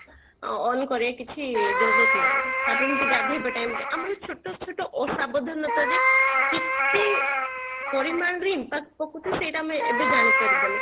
on କରିବା କିଛି ନାହିଁ , ତାପରେ ଏମିତି ଗାଧେଇବା time ରେ ଆମର ଛୋଟ ଛୋଟ ଅସାବଧନତା ରେ କେତେ ପରିମାଣରେ impact ପକୋଉଛି ସେଟା ଆମେ ଏବେ ଜାଣି ପାରିବାନି